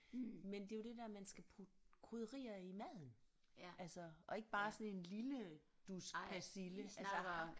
Men det er jo det der man skal putte krydderier i maden altså og ikke bare sådan en lille dusk persille altså